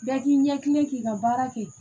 Bɛɛ k'i ɲɛ kilen k'i ka baara kɛ